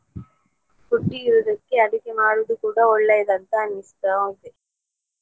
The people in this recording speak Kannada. Foodie ಇರುದಕ್ಕೆ ಅಡುಗೆ ಮಾಡುದು ಕೂಡ ಒಳ್ಳೇಯದಂತ ಅನಿಸ್ತಾ ಇದೆ.